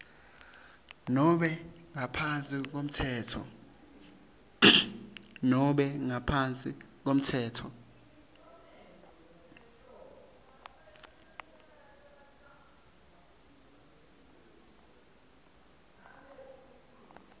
nobe ngaphansi kwemtsetfo